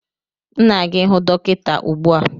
M na-aga ihụ dọkịta ugbu a